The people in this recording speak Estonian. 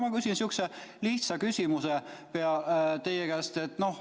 Ma küsin teie käest niisuguse lihtsa küsimuse.